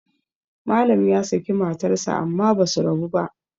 Malam ya saki matarsa amma ba su rabu ba